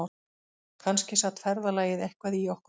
Kannski sat ferðalagið eitthvað í okkur